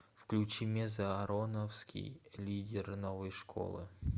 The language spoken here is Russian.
включи мезза ароновский лидер новой школы